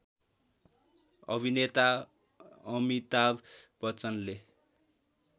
अभिनेता अमिताभ बच्चनले